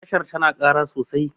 tashar tana Kara sosai